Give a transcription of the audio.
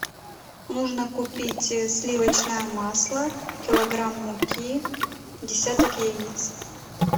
нужно купить сливочное масло килограмм муки десяток яиц